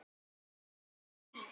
Við fögnum því.